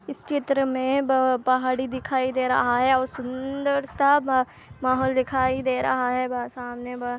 चित्र में पहाड़ी दिखाई दे रहा है और सुन्दर सा माहोल दिखाई दे रहा है बा सामने बा--